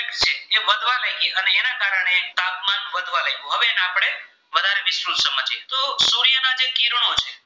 કિરણો છે